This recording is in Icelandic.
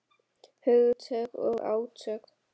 Hugtök og átök.